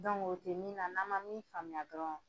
o tɛ min na, n'an ma min faamuya dɔrɔn